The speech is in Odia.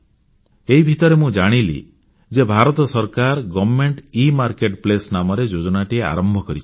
ଏଇ ଭିତରେ ମୁଁ ଜାଣିଲି ଯେ ଭାରତ ସରକାର ଗଭର୍ଣ୍ଣମେଣ୍ଟ ଇମାର୍କେଟପ୍ଲେସ୍ ନାମରେ ଯୋଜନାଟିଏ ଆରମ୍ଭ କରିଛନ୍ତି